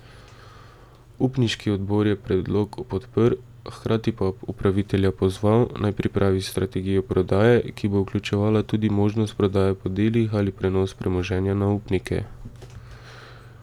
Upniški odbor je predlog podprl, hkrati pa upravitelja pozval, naj pripravi strategijo prodaje, ki bo vključevala tudi možnost prodaje po delih ali prenos premoženja na upnike.